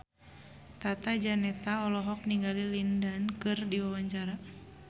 Tata Janeta olohok ningali Lin Dan keur diwawancara